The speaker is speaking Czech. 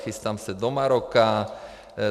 Chystám se do Maroka.